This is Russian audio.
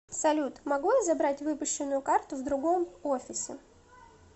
салют могу я забрать выпущенную карту в другом офисе